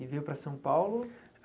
E veio para São Paulo?